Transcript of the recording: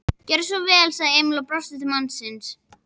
Gjörðu svo vel, sagði Emil og brosti til mannsins.